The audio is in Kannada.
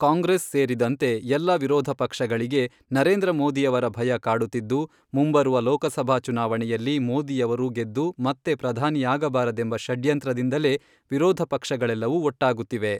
ಕಾಂಗ್ರೆಸ್ ಸೇರಿದಂತೆ ಎಲ್ಲ ವಿರೋಧ ಪಕ್ಷಗಳಿಗೆ ನರೇಂದ್ರ ಮೋದಿಯವರ ಭಯ ಕಾಡುತ್ತಿದ್ದು, ಮುಂಬರುವ ಲೋಕಸಭಾ ಚುನಾವಣೆಯಲ್ಲಿ ಮೋದಿಯವರು ಗೆದ್ದು ಮತ್ತೆ ಪ್ರಧಾನಿಯಾಗಬಾರದೆಂಬ ಷಡ್ಯಂತ್ರದಿಂದಲೇ ವಿರೋಧ ಪಕ್ಷಗಳೆಲ್ಲವೂ ಒಟ್ಟಾಗುತ್ತಿವೆ.